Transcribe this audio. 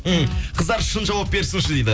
ммм қыздар шың жауап берсінші дейді